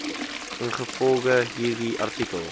ingevolge hierdie artikel